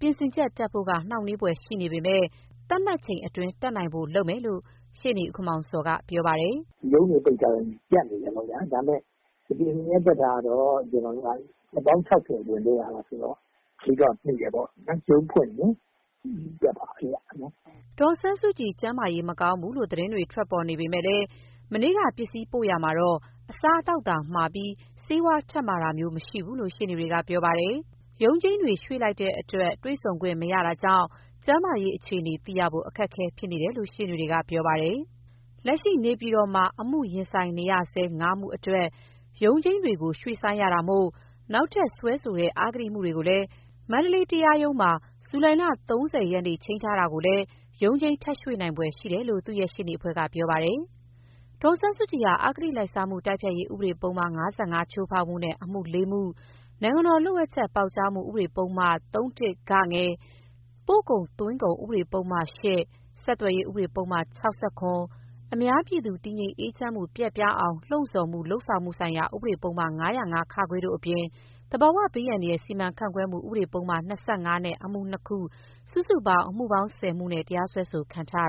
ပြင်ဆင်ချက်တက်ဖို့က နှောင့်နှေးဖွယ်ရှိနေပေမယ့် သတ်မှတ် အချိန်အတွင်းတက်နိုင်ဖို့ လုပ်မယ်လို့ ဦးခင်မောင်ဇော်ကတော့ပြောပါတယ်။ “ရုံးတွေပိတ်ထားတော့ရပ်နေတာပေါ့ဗျာ။ ဒါပေမယ့် ပြင်ဆင်ချက်တတ်တာက တော့ ကျနော်တို့က ရက်ပေါင်း ၆၀အတွင်းလုပ်ရမှာဆိုတော့ မှီတယ်ပေါ့ရုံးဖွင့်ရင် တက်မှာဘဲဗျ။” ဒေါ်အောင်ဆန်းစုကြည် ကျန်းမာရေးမကောင်းဘူးလို့ သတင်းတွေထွက်ပေါ်နေပေမယ့် မနေ့က ပစ္စည်းမှာရာမှာ အစားသောက်သာမှာပြီး ဆေးဝါးထပ်မှာတာမျိုးမရှိဘူးလို့ရှေ့နေတွေကပြောပါတယ်။ ရုံးချိန်းတွေ ရွှေ့ရတာမို့ တွေ့ဆုံခွင့်မရှိတာကြောင့် ကျန်းမာရေးအခြေအနေသိရဖို့ အခက်အခဲဖြစ်နေ တယ်လို့ ရှေ့နေတွေကပြောပါတယ်။ လက်ရှိနေပြည်တော်မှာ အမှုရင်ဆိုင်နေဆဲ ၅မှုအတွက်ရုံးချိန်းတွေရွှေ့ဆိုင်းရတာမို့၊ နောက်ထပ်စွဲ ဆိုတဲ့ အဂတိမှုတွေကိုလည်း မန္တလေးတရားရုံးက ဇူလိုင် ၃၀ရက်နေ့ ချိန်းထားတာကိုလည်း ရုံးချိန်းထပ် ရွှေ့နိုင် ဖွယ် ရှိတယ်လို့ သူ့ရဲ့ရှေ့နေအဖွဲ့ကပြောပါတယ်။ ဒေါ်အောင်ဆန်းစုကြည်ဟာ အဂတိလိုက်စားမှု တိုက်ဖျက်ရေးဥပဒေပုဒ်မ ၅၅ချိုးဖောက်မှုနဲ့ အမှု ၄ မှု၊ နိုင်ငံတော်လှို့ဝှက်ချက်ပေါက်ကြားမှု ဥပဒေပုဒ်မ ၃ (၁) (ဂ)၊ ပို့ကုန်သွင်းကုန်ဥပဒပုဒ်မ ၈ ၊ ဆက်သွယ် ရေး ဥပဒေ ပုဒ်မ ၆၇ ၊ အများပြည်သူ တည်ငြိမ်အေးချမ်းမှု ပျက်ပြားအောင်လှုံဆော်မှု လုပ်ဆောင်မှု ဆိုင်ရာ ဥပဒေပုဒ်မ ၅၀၅(ခ)၊ တို့ အပြင် သဘာဝ ဘေးအန္တရာယ် စီမံခန့်ခွဲမှု ဥပဒေ ပုဒ်မ ၂၅ နဲ့ အမှု ၂ ခု၊ စုစုပေါင်း ၁၀ မှုနဲ့ တရားစွဲခံထားရ